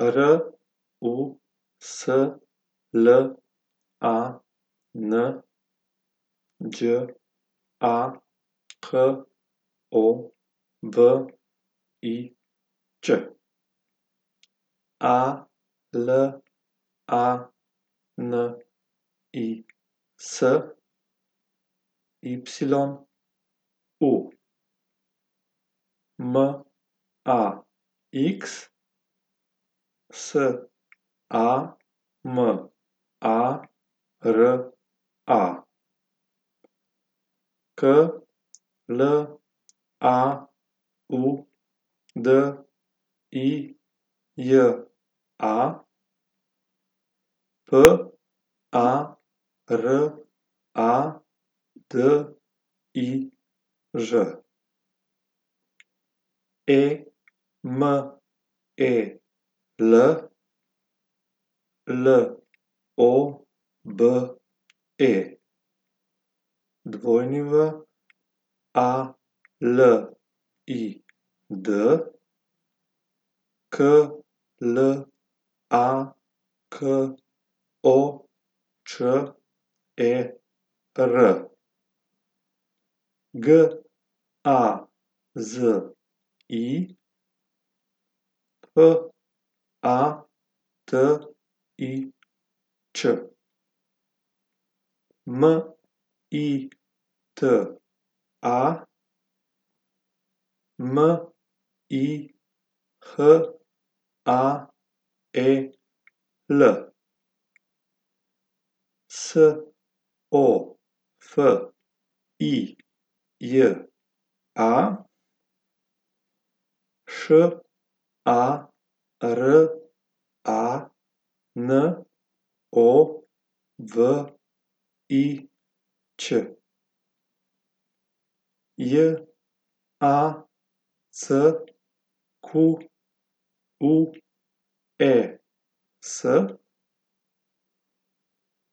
R U S L A N, Đ A K O V I Ć; A L A N I S, Y U; M A X, S A M A R A; K L A U D I J A, P A R A D I Ž; E M E L, L O B E; W A L I D, K L A K O Č E R; G A Z I, F A T I Ć; M I T A, M I H A E L; S O F I J A, Š A R A N O V I Ć; J A C Q U E S,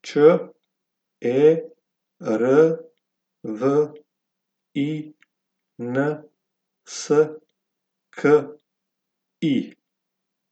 Č E R V I N S K I.